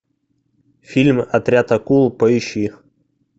фильм отряд акул поищи